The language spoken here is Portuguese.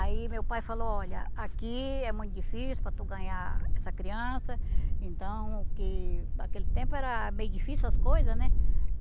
Aí meu pai falou, olha, aqui é muito difícil para tu ganhar essa criança, então, que aquele tempo eram meio difícil as coisa, né?